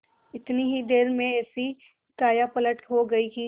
इतनी ही देर में ऐसी कायापलट हो गयी कि